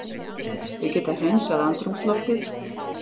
Þau geta hreinsað andrúmsloftið.